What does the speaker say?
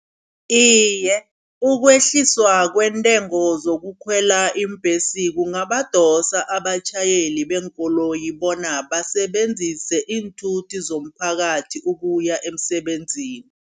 Iye ukwehliswa kwentengo zokukhwela iimbhesi kungabadosa abatjhayeli beenkoloyi, bona basebenzise iinthuthi zomphakathi ukuya emsebenzini.